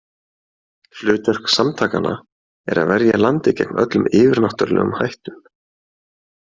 Hlutverk samtakanna er að verja landið gegn öllum yfirnáttúrulegum hættum.